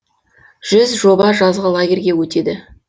жүз жоба жазғы лагерьге өтеді